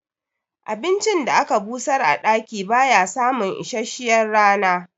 Abincin da aka busar a ɗaki baya samun isasshiyar rana